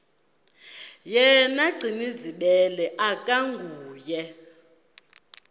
yena gcinizibele akanguye